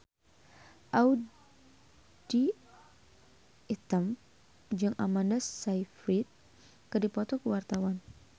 Audy Item jeung Amanda Sayfried keur dipoto ku wartawan